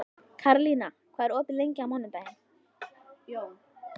Karlína, hvað er opið lengi á mánudaginn?